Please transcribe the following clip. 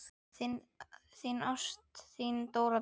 Ást, þín Dóra Björt.